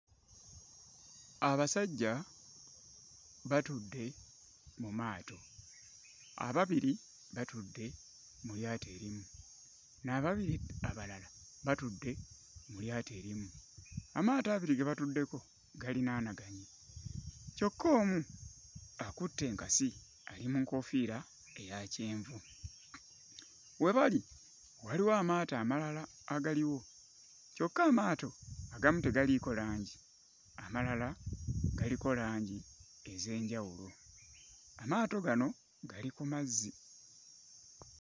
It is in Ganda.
Abasajja batudde mu maato. Ababiri batudde mu lyato erimu, n'ababiri abalala batudde mu lyato erimu. Amaato abiri ge batuddeko galinaanaganye kyokka omu akutte enkasi ali mu nkofiira eya kyenvu. We bali waliwo amaato amalala agaliwo, kyokka amaato agamu tegaliiko langi amalala galiko langi ez'enjawulo. Amaato gano gali ku mazzi.